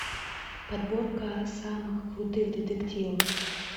подборка самых крутых детективов